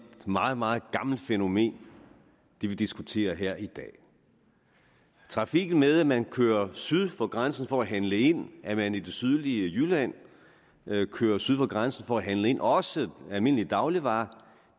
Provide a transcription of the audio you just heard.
meget meget gammelt fænomen vi diskuterer her i dag trafikken med at man kører syd for grænsen for at handle ind at man i det sydlige jylland kører syd for grænsen for at handle ind også almindelige dagligvarer